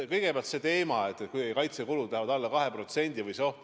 Kõigepealt see teema, kas on oht, et kaitsekulud lähevad alla 2%.